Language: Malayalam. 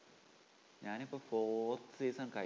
ഞാനിപ്പോ forth season കഴിഞ്ഞു.